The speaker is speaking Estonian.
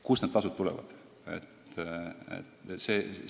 Kust need tasud tulevad?